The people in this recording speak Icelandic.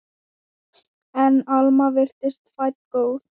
En Alma virtist fædd góð.